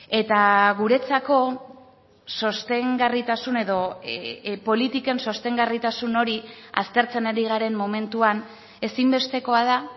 eta guretzako sostengarritasun edo politiken sostengarritasun hori aztertzen ari garen momentuan ezinbestekoa da